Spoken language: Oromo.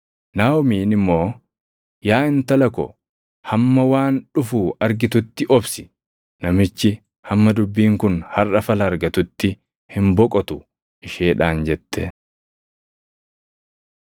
Naaʼomiin immoo, “Yaa intala ko, hamma waan dhufu argitutti obsi. Namichi hamma dubbiin kun harʼa fala argatutti hin boqotu” isheedhaan jette.